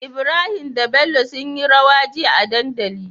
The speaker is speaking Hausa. Ibrahim da bello sunyi rawa jiya a dandali